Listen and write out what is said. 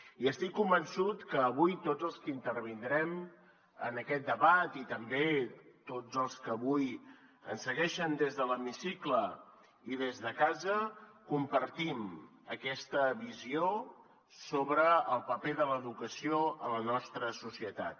i estic convençut que avui tots els que intervindrem en aquest debat i també tots els que avui ens segueixen des de l’hemicicle i des de casa compartim aquesta visió sobre el paper de l’educació a la nostra societat